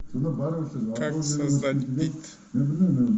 как создать бит